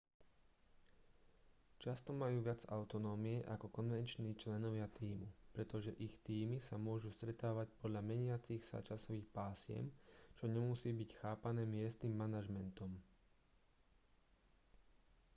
často majú viac autonómie ako konvenční členovia tímu pretože ich tímy sa môžu stretávať podľa meniacich sa časových pásiem čo nemusí byť chápané miestnym manažmentom